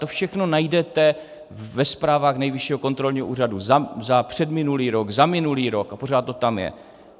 To všechno najdete ve zprávách Nejvyššího kontrolního úřadu - za předminulý rok, za minulý rok a pořád to tam je.